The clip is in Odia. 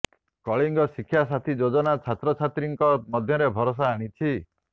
କଳିଙ୍ଗ ଶିକ୍ଷା ସାଥୀ ଯୋଜନା ଛାତ୍ରଛାତ୍ରୀଙ୍କ ମଧ୍ୟରେ ଭରସା ଆଣିଛି